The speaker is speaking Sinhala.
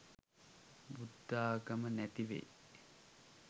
බුද්ධාගම නැතිවෙයි.